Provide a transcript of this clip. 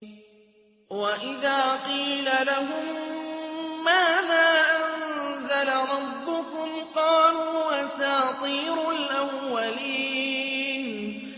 وَإِذَا قِيلَ لَهُم مَّاذَا أَنزَلَ رَبُّكُمْ ۙ قَالُوا أَسَاطِيرُ الْأَوَّلِينَ